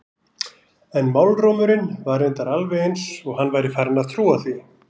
En málrómurinn var reyndar alveg eins og hann væri farinn að trúa því.